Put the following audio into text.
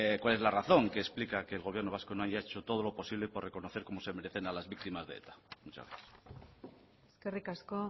cuál es la razón que explica que el gobierno vasco no haya hecho todo lo posible por reconocer como se merecen a las víctimas de eta muchas gracias eskerrik asko